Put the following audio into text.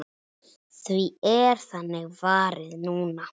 Því er þannig varið núna.